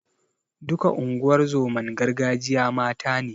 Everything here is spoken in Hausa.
Duka unguwar zoman gargajiya mata ne.